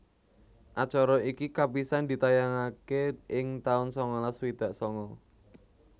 Acara iki kapisan ditayangaké ing taun sangalas swidak sanga